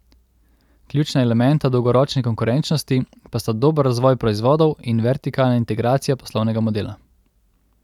Ključna elementa dolgoročne konkurenčnosti pa sta dober razvoj proizvodov in vertikalna integracija poslovnega modela.